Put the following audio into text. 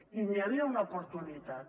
i n’hi havia una oportunitat